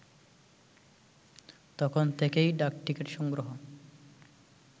তখন থেকেই ডাকটিকিট সংগ্রহ